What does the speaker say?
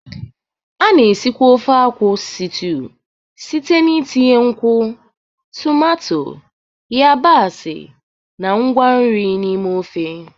A na-esikwa ofe akwu stiuu site n'itinye nkwụ, tomato, yabasị, na ngwa nri n'ime ofe.